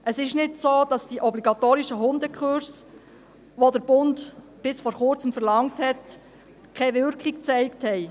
Es ist nicht so, dass die obligatorischen Hundekurse, die der Bund bis vor Kurzem verlangt hat, keine Wirkung gezeigt haben.